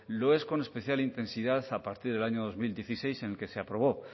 lo es con especial intensidad a partir del año dos mil dieciséis en que se aprobó